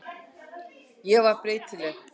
Ég var breytileg.